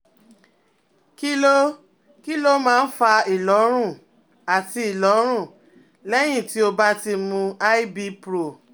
Kí ló Kí ló máa ń fa ìlọ́run àti ìlọ́run lẹ́yìn tó o bá ti mu IBpro?